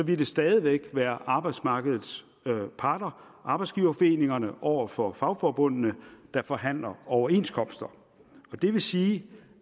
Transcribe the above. det stadig væk være arbejdsmarkedets parter arbejdsgiverforeningerne over for fagforbundene der forhandlede overenskomster det vil sige